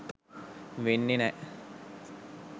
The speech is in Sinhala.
වෙන්නෙ නෑ.